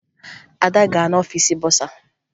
Ada gara n'ọfiisi bọsa